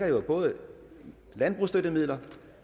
jo både dækker landbrugsstøttemidler